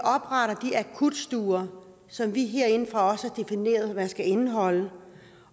akutstuer som vi herindefra har defineret hvad skal indeholde